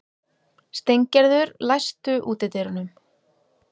Steingerður, læstu útidyrunum.